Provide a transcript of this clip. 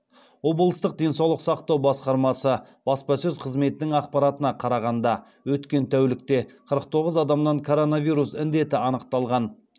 облыстық денсаулық сақтау басқармасы баспасөз қызметінің ақпаратына қарағанда өткен тәулікте қырық тоғыз адамнан коронавирус індеті анықталған